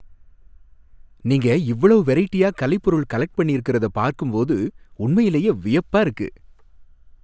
நீங்க இவ்ளோ வெரைட்டியா கலைபொருள் கலெக்ட் பண்ணியிருக்கிறத பார்க்கும் போது உண்மையிலேயே வியப்பா இருக்கு.